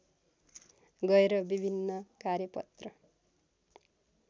गएर विभिन्न कार्यपत्र